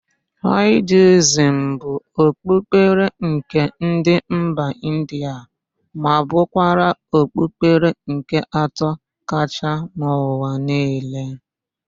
Hinduizm bụ okpukpere nke ndị mba India ma bụrụkwa okpukpere nke atọ kachaa n'ụwa niile.